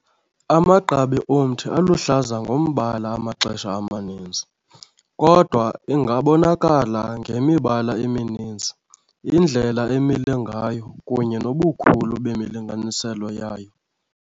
Amagqabi omthi aluhlaza ngombala amaxesha amaninzi, kodwa ingabonakala ngemibala emininzi, indlela emile ngayo, kunye nobukhulu bemilinganiselo yayo.